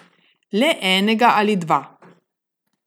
Le enega ali dva.